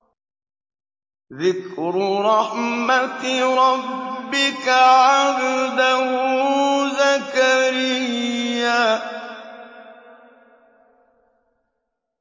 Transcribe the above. ذِكْرُ رَحْمَتِ رَبِّكَ عَبْدَهُ زَكَرِيَّا